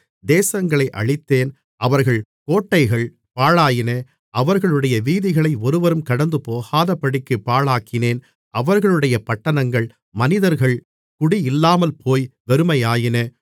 தேசங்களை அழித்தேன் அவர்கள் கோட்டைகள் பாழாயின அவர்களுடைய வீதிகளை ஒருவரும் கடந்துபோகாதபடிக்குப் பாழாக்கினேன் அவர்களுடைய பட்டணங்கள் மனிதர்கள் குடியில்லாமல்போய் வெறுமையாயின